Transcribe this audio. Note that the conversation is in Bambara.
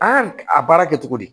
An y'a a baara kɛ cogo di